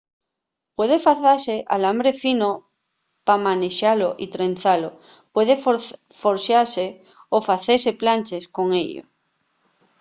puede facese alambre fino pa manexalo y trenzalo puede forxase o facese planches con ello